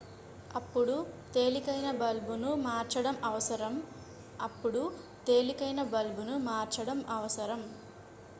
అప్పుడు తేలికైన బల్బును మార్చడం అవసరం అప్పుడు తేలికైన బల్బును మార్చడం అవసరం